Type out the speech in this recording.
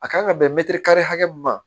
A kan ka bɛntiri kari hakɛ min ma